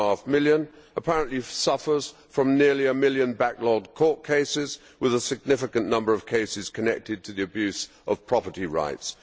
4.5 million, apparently suffers from nearly a million backlogged court cases, with a significant number of cases connected to the abuse of property rights.